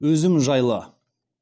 өзім жайлы